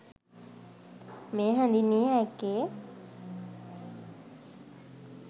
මෙය හැඳින්විය හැක්කේ